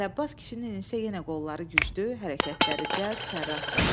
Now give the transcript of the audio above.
Əli Abbas kişinin isə yenə qolları güclü, hərəkətləri cəld, sərrast idi.